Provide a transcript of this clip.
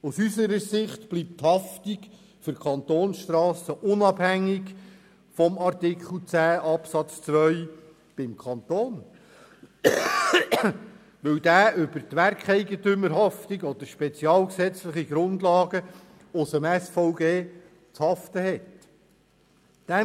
Aus unserer Sicht bleibt die Haftung für die Kantonsstrassen unabhängig von Artikel 10 Absatz 2 beim Kanton, weil dieser über die Werkeigentümerhaftung oder über spezialgesetzliche Grundlagen aus dem Strassenverkehrsgesetz (SVG) zu haften hat.